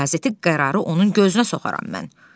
Qazeti qərarı onun gözünə soxaram mən.